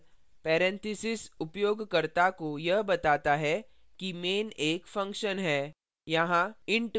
main के बाद parenthesis उपयोगकर्ता को यह बताता है कि main एक function है